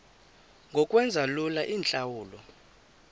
ngokwenza lula iintlawulo